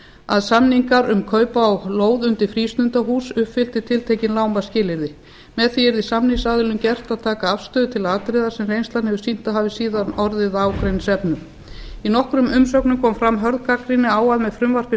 að samningar um kaup á lóð undir frístundahús uppfyllti tiltekin lágmarksskilyrði með því yrði samningsaðilum gert að taka afstöðu aðila árið sem reynslan hafði sýnt að hafi síðan orðið að ágreiningsefni í nokkrum umsögnum kom fram hörð gagnrýni á að með frumvarpi